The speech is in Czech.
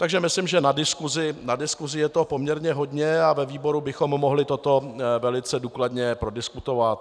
Takže myslím, že na diskusi je toho poměrně hodně, a ve výboru bychom mohli toto velice důkladně prodiskutovat.